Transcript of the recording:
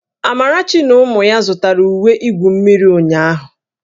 Amarachi na ụmụ ya zụtara uwe igwu mmiri ụnyahụ